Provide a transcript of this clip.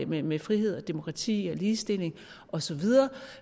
med med frihed og demokrati og ligestilling osv